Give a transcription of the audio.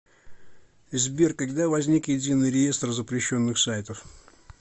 сбер когда возник единый реестр запрещенных сайтов